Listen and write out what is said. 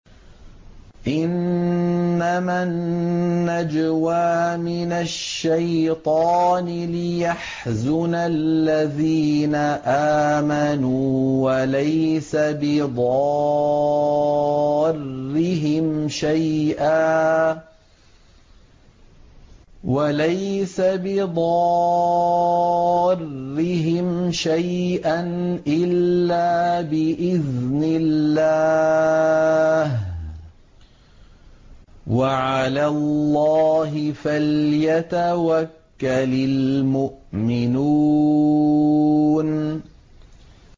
إِنَّمَا النَّجْوَىٰ مِنَ الشَّيْطَانِ لِيَحْزُنَ الَّذِينَ آمَنُوا وَلَيْسَ بِضَارِّهِمْ شَيْئًا إِلَّا بِإِذْنِ اللَّهِ ۚ وَعَلَى اللَّهِ فَلْيَتَوَكَّلِ الْمُؤْمِنُونَ